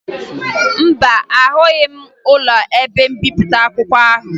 Mba, ahụghị m ụlọ ebe mbipụta akwụkwọ ahụ